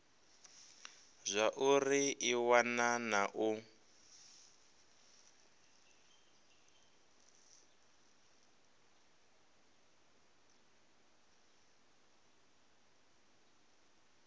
zwauri i wana na u